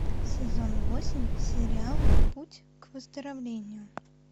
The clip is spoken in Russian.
сезон восемь сериал путь к выздоровлению